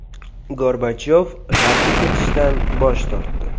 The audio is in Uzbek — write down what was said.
Gorbachyov G‘arbga ketishdan bosh tortdi.